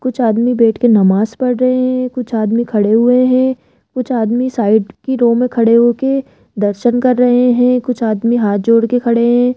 कुछ आदमी बैठ के नमाज पढ़ रहे हैं कुछ आदमी खड़े हुए हैं कुछ आदमी साइड की रो में खड़े होके दर्शन कर रहे हैं कुछ आदमी हाथ जोड़ के खड़े हैं।